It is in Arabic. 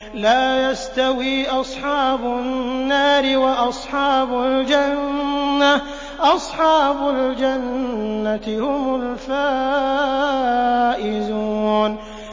لَا يَسْتَوِي أَصْحَابُ النَّارِ وَأَصْحَابُ الْجَنَّةِ ۚ أَصْحَابُ الْجَنَّةِ هُمُ الْفَائِزُونَ